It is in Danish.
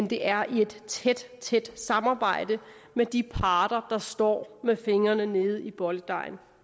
det er i et tæt tæt samarbejde med de parter der står med fingrene nede i bolledejen